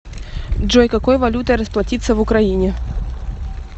джой какой валютой расплатиться в украине